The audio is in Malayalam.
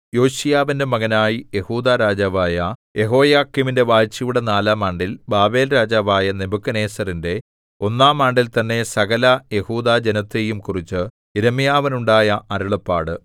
യോശീയാവിന്റെ മകനായി യെഹൂദാ രാജാവായ യെഹോയാക്കീമിന്റെ വാഴ്ചയുടെ നാലാം ആണ്ടിൽ ബാബേൽരാജാവായ നെബൂഖദ്നേസരിന്റെ ഒന്നാം ആണ്ടിൽത്തന്നെ സകല യെഹൂദാജനത്തെയും കുറിച്ച് യിരെമ്യാവിനുണ്ടായ അരുളപ്പാട്